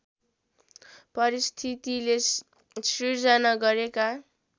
परिस्थितिले सिर्जना गरेका